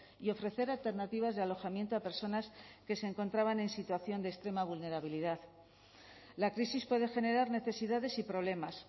y ofrecer alternativas de alojamiento a personas que se encontraban en situación de extrema vulnerabilidad la crisis puede generar necesidades y problemas